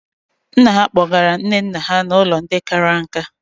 Nna ha kpọgara nne nna ha n'ụlọ ndị kara nka.